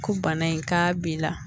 Ko bana in k'a b'i la